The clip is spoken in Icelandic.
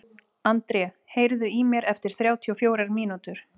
André, heyrðu í mér eftir þrjátíu og fjórar mínútur.